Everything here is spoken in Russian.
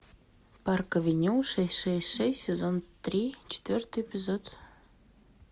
парк авеню шесть шесть шесть сезон три четвертый эпизод